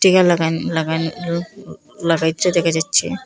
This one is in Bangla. লাগাইন লাগাইন ল লাগাইচ্ছে দেখা যাচ্ছে।